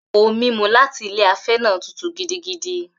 Ohun-mímu láti ilé afẹ́ náà tútù gidigidi.